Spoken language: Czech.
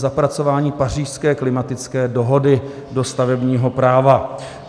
zapracování Pařížské klimatické dohody do stavebního práva.